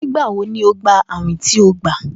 Nigbawo ni o gba awin ti o gba?